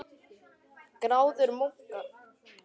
Gráður munka